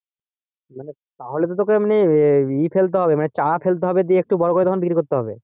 তাহলে তো তোকে এমনি ইয়ে ফেলতে হবে মানে চারা ফেলতে হবে দিয়ে একটু বড়ো করে তখন বিক্রি করতে হবে।